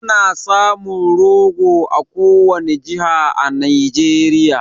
Ana samun rogo a kowani jiha a Nijeriya